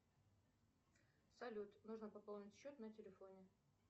салют нужно пополнить счет на телефоне